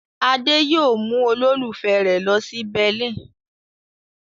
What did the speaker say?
Adé yóò mú olólùfẹ́ rẹ̀ lọ sí Berlin.